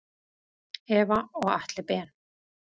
Eva og Atli Ben.